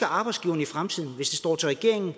arbejdsgiveren i fremtiden hvis det står til regeringen